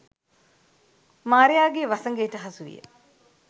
මාරයාගේ වසඟයට හසුවිය